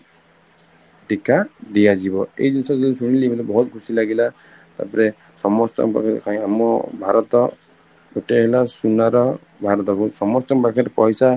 ଟୀକା ଦିଆଜିବି, ଏଇ ଜିନିଷ ଯୋଉ ଶୁଣିଲି ମତେ ବହୁତ ଖୁସି ଲାଗିଲା ତାପରେ ସମତଙ୍କର କହିଲେ ଆମ ଭାରତ ଗୋଟେ ହେଲା ସୁନାର ଭାରତକୁ ସମସ୍ତଙ୍କ ପାଖରେ ପଇସା